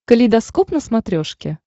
калейдоскоп на смотрешке